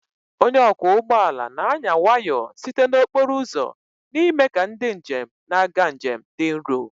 Onye ọkwọ ụgbọ ala na-anya nwayọọ site na okporo ụzọ n'ime ka ndị njem na-aga njem dị nro